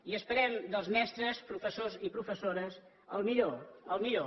i esperem dels mestres professors i professores el millor el millor